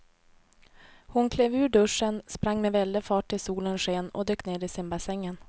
Hon klev ur duschen, sprang med väldig fart ut i solens sken och dök ner i simbassängen.